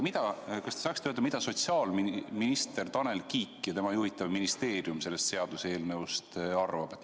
Aga kas te saaksite öelda, mida sotsiaalminister Tanel Kiik ja tema juhitav ministeerium sellest seaduseelnõust arvab?